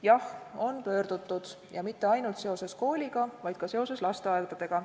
Jah, on pöördutud ja mitte ainult seoses kooliga, vaid ka seoses lasteaedadega.